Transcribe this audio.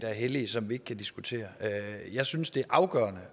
er hellige som vi ikke kan diskutere jeg synes det er afgørende